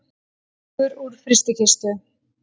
Reykur úr frystikistu